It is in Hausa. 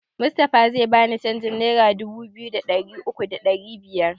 Mustapha zai bani canjin nera dubu biyu da ɗari uku da ɗari biyar